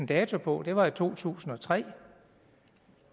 dato på var i to tusind og tre